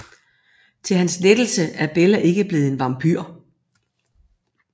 Til hans lettelse er Bella ikke blevet en vampyr